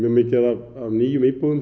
mikið af nýjum íbúðum